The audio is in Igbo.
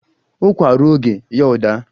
Ụkwa ruo oge ya ọ daa